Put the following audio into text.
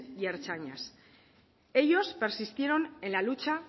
y ertzainas ellos persistieron en la lucha